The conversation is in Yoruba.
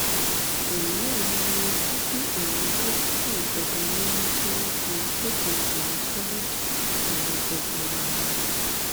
èyí wà lára ohun tó bí àwọn dókítà ìjọba nínú tí wọn fi kéde ìyanṣẹlódì ọlọjọ gbọọrọ